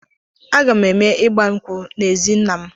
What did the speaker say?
A ga-eme ịgba nkwụ m n'ezi nna m.